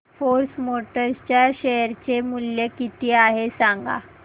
force Motors च्या share चे मूल्य किती आहे सांगा